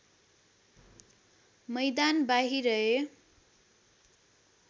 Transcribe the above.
मैदान बाहिरए